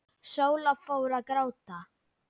Sóla fór að gráta.